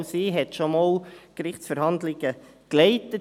auch sie hat also schon einmal Gerichtsverhandlungen geleitet.